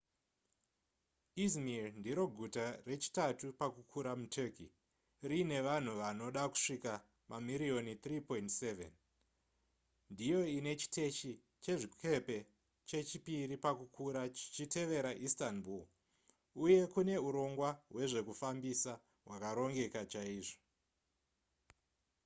izmir ndiro guta rechitatu pakukura muturkey riine vanhu vanoda kusvika mamiriyoni 3.7 ndiyo ine chiteshi chezvikepe chechipiri pakukura chichitevera istanbul uye kune urongwa hwezvekufambisa hwakarongeka chaizvo